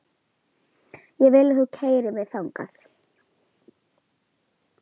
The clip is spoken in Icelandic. Ég vil að þú keyrir mig þangað.